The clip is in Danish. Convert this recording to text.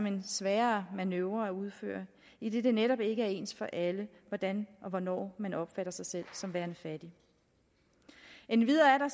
en sværere manøvre at udføre idet det netop ikke er ens for alle hvordan og hvornår man opfatter sig selv som værende fattig endvidere er